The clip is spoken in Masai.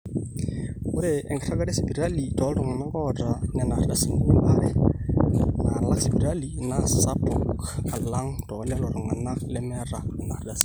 ore enkiragata esipitali tooltung'anak oota nena ardasini embaare naalak sipitali naa sapuk alang toolelo tung'anak lemeeta nena ardasini